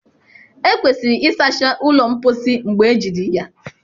Ekwesịrị ịsacha ụlọ mposi mgbe ejiri ya.